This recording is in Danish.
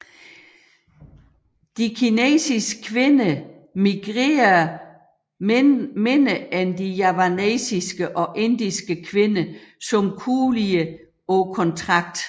Kinesiske kvinder migrerede mindre end de javanesiske og indiske kvinder som kulier på kontrakt